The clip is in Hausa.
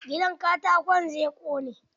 Gidan katakon ka zai ƙone.